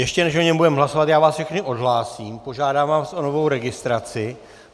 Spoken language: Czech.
Ještě než o něm budeme hlasovat, já vás všechny odhlásím, požádám vás o novou registraci.